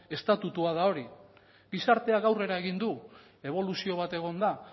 estatutua da hori gizarteak aurrera egin du eboluzio bat egon da